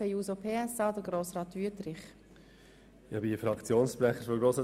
Kommissionssprecher der SAK.